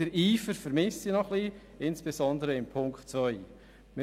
Den Eifer vermisse ich noch ein bisschen, insbesondere in Bezug auf die Ziffer 2.